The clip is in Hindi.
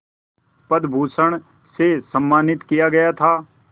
पद्म विभूषण से सम्मानित किया था